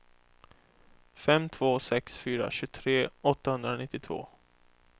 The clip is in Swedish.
fem två sex fyra tjugotre åttahundranittiotvå